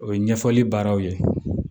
O ye ɲɛfɔli baaraw ye